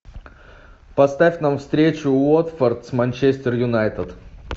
поставь нам встречу уотфорд с манчестер юнайтед